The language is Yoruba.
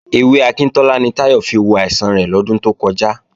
Ewé akíntọ́lá ni Táyọ̀ fi wo àìsàn rẹ̀ lọ́dún tó kọjá